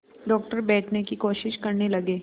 doctor बैठने की कोशिश करने लगे